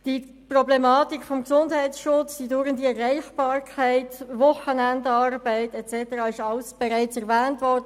Die Problematik des Gesundheitsschutzes, die dauernde Erreichbarkeit, Wochenendarbeit und so weiter wurden